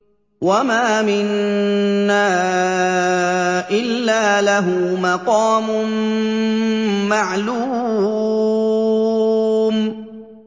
وَمَا مِنَّا إِلَّا لَهُ مَقَامٌ مَّعْلُومٌ